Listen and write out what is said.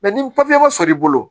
ni papiye ma sɔrɔ i bolo